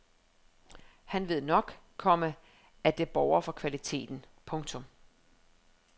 Han ved nok, komma at det borger for kvaliteten. punktum